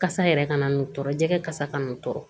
Kasa yɛrɛ kana n'o tɔɔrɔ jɛgɛ kasa kana tɔɔrɔ